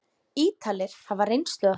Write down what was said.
Ítalir hafa reynslu af því.